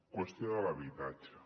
qüestió de l’habitatge